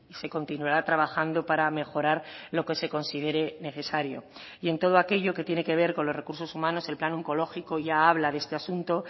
se continuará trabajando para mejorar lo que se considere necesario y en todo aquello que tiene que ver con los recursos humanos el plan oncológico ya habla de este asunto